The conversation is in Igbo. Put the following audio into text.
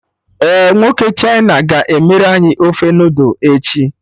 Ee, nwoke China ga-emere anyị ofe noodul echi